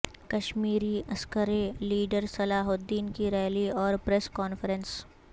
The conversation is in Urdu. کشمیری عسکری لیڈر صلاح الدین کی ریلی اور پریس کانفرنس